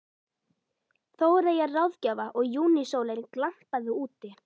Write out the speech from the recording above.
Þóreyjar ráðgjafa og júnísólin glampaði úti.